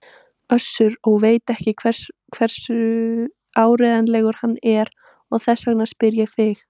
Össur og veit ekki hversu áreiðanlegur hann er og þess vegna spyr ég þig.